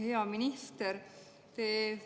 Hea minister!